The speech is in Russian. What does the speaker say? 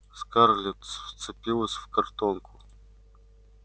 скарлетт вцепилась в картонку